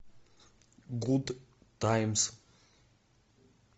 гуд таймс